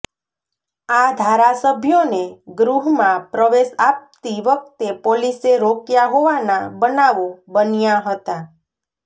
આ ધારાસભ્યોને ગૃહમાં પ્રવેશ આપતી વખતે પોલીસે રોક્યા હોવાના બનાવો બન્યા હતા